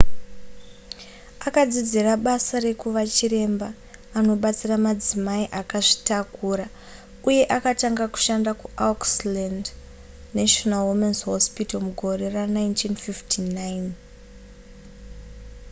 akadzidzira basa rekuva chiremba anobatsira madzimai akazvitakura uye akatanga kushanda kuauckland's national women's hospital mugore ra1959